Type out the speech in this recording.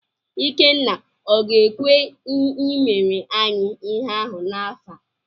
Ikenna ọ ga-ekwe i mere anyị ihe ahụ n'afọ a?